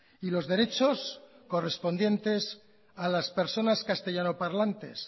y los derechos correspondientes a las personas castellano parlantes